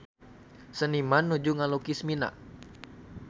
Seniman nuju ngalukis Mina